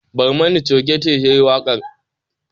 Barmani choge ce ta yi waƙar.